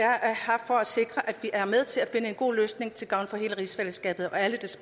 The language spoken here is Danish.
vi er med til at finde en god løsning til gavn for hele rigsfællesskabet og alle